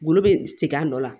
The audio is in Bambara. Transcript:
Golo be segin a nɔ la